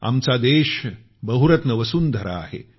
आमचा देश बहुरत्न वसुंधरा आहे